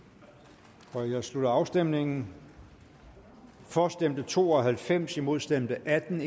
der jeg slutter afstemningen for stemte to og halvfems imod stemte atten